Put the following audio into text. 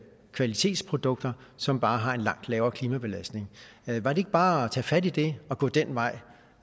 kvalitetsprodukter som bare har en langt lavere klimabelastning var det ikke bare at tage fat i det og gå den vej